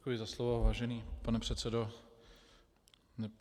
Děkuji za slovo, vážený pane předsedo.